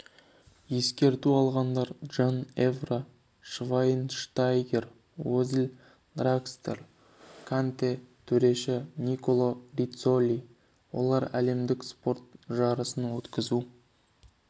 ескерту алғандар джан эвра швайнштайгер озил дракслер канте төреші никола риццоли олар әлемдік спорт жарысын өткізу